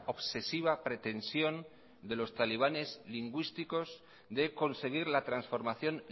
obsesiva pretensión de los talibanes lingüísticos de conseguir la transformación